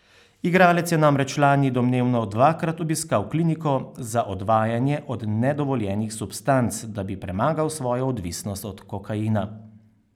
Igralec je namreč lani domnevno dvakrat obiskal kliniko za odvajanje od nedovoljenih substanc, da bi premagal svojo odvisnost od kokaina.